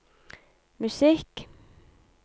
musikk